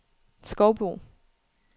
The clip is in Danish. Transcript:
Skovbo